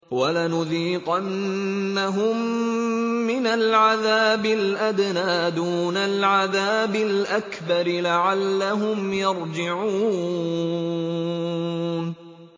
وَلَنُذِيقَنَّهُم مِّنَ الْعَذَابِ الْأَدْنَىٰ دُونَ الْعَذَابِ الْأَكْبَرِ لَعَلَّهُمْ يَرْجِعُونَ